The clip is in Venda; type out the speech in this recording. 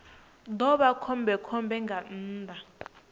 ḓo vha khombekhombe nga nnḓa